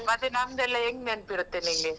ಮತ್ತೆ ನಮ್ದೆಲ್ಲ ಹೆಂಗ್ ನೆನ್ಪಿರುತ್ತೆ ನಿಂಗೆ?